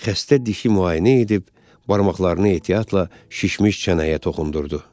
Xəstə dişi müayinə edib, barmaqlarını ehtiyatla şişmiş çənəyə toxundurdu.